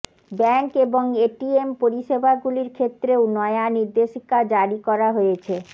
bank এবং ATM পরিষেবাগুলির ক্ষেত্রেও নয়া নির্দেশিকা জারি করা হয়েছে